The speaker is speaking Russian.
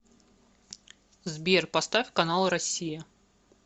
сбер поставь канал россия